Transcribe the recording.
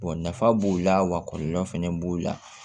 nafa b'o la wa kɔlɔlɔ fɛnɛ b'o la